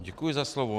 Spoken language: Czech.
Děkuji za slovo.